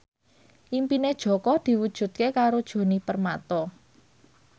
impine Jaka diwujudke karo Djoni Permato